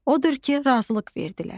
Odur ki, razılıq verdilər.